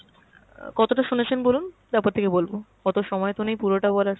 কতটা শুনেছেন বলুন তারপর থেকে বলব, অত সময় তো নেই পুরটা বলার।